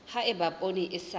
ha eba poone e sa